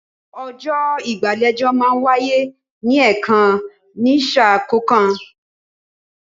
Ọjọ́ ìgbàlejò máa ń wáyé ní ẹ̀kan ní sà kọ̀ọ̀kan